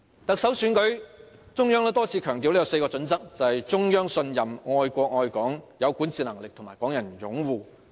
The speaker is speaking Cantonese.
特首選舉，中央多次強調有4個準則，即中央信任、愛國愛港、有管治能力和港人擁護。